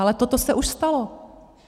Ale toto se už stalo.